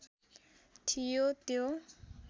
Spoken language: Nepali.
थियो त्यो